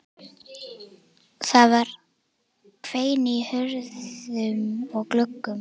Það hvein í hurðum og gluggum.